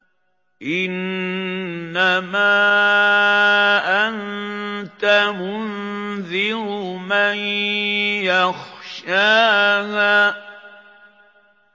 إِنَّمَا أَنتَ مُنذِرُ مَن يَخْشَاهَا